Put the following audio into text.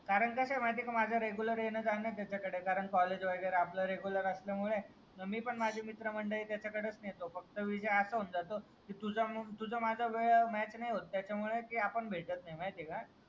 कारण कै आहे माहितीये का माझं रेग्युलर येणं जाणं त्याच्याकडे कारण कॉलेज वगेरे आपला रेग्युलर असल्यामुळे. मी पण माझे मित्र मंडळी त्याच्याकडेच नेहतो. फक्तं तुझं माझं वेळ मॅच नाही होतं त्याच्यामुळे आपण भेटत नाही माहितीये का.